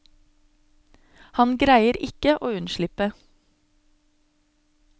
Han greier ikke å unnslippe.